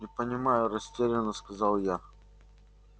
не понимаю растерянно сказал я